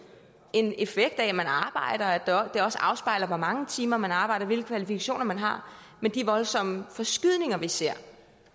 en effekt af at man arbejder og at det også afspejler hvor mange timer man arbejder og hvilke kvalifikationer man har men de voldsomme forskydninger vi ser